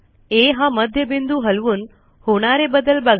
आ हा मध्यबिंदू हलवून होणारे बदल बघा